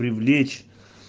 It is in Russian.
привлечь